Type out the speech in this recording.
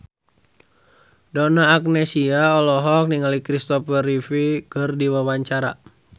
Donna Agnesia olohok ningali Kristopher Reeve keur diwawancara